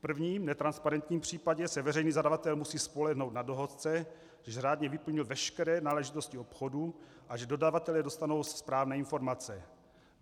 V prvním, netransparentním případě, se veřejný zadavatel musí spolehnout na dohodce, že řádně vyplnil veškeré náležitosti obchodu a že dodavatelé dostanou správné informace.